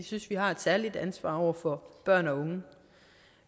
synes vi har et særligt ansvar over for børn og unge